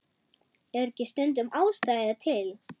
Er ekki stundum ástæða til?